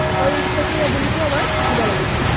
আকৌ risk taking ability ও আমাৰ থাকিব লাগিব।